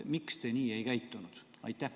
Miks te nii ei käitunud?